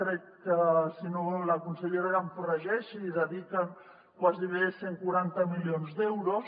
crec que si no la consellera que em corregeixi hi dediquen gairebé cent i quaranta milions d’euros